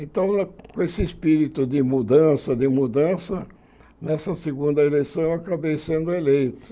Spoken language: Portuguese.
Então, com esse espírito de mudança, de mudança, nessa segunda eleição eu acabei sendo eleito.